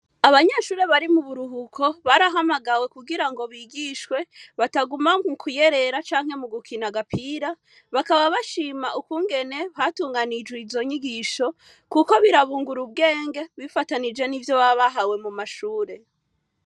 Abanyeshure bari mu buruhuko, barahamagawe kugira ngo bigishwe, bataguma mu kuyerera canke mu gukina agapira. Bakaba bashima ukungene hatunganijwe izo nyigisho, kuko birabungura ubwenge bifatanije n'ivyo baba bahawe mu mashure.